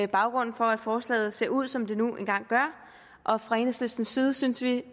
baggrunden for at forslaget ser ud som det nu engang gør og fra enhedslistens side synes vi